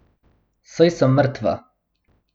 Saj sem mrtva!